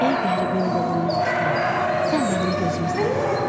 Ey qəribin qolundan tutan, sən mənim gözümü sağaltdın.